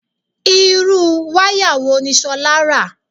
Irú wáyà wo ni Ṣolá rà?